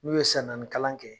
N'u ye san naani kalan kɛ